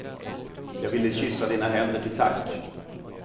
Jag ville kyssa dina händer till tack.